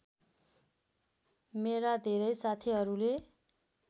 मेरा धेरै साथीहरूले